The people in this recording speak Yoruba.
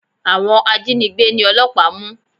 Àwọn ajínigbé ni ọlọ́pàá mú.